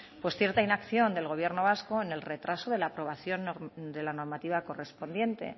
pues cierta inacción del gobierno vasco en el retraso de la aprobación de la normativa correspondiente